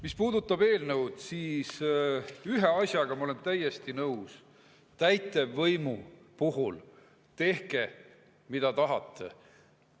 Mis puudutab eelnõu, siis ühe asjaga ma olen täiesti nõus: täitevvõimu puhul tehke, mida tahate.